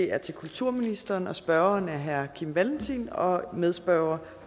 er til kulturministeren og spørgeren er herre kim valentin og medspørgeren